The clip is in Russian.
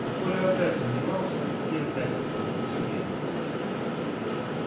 а коля опять сомневался и опять хотел во всё верить